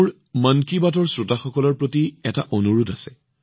মোৰ ওচৰত মন কী বাতৰ শ্ৰোতাসকললৈ এটা আহ্বান আছে